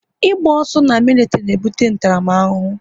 Ị gba ọsọ na militiri na ebute ntaramahụhụ